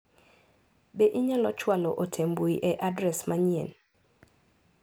Be inyalo chwalo ote mbui e adres manyien ?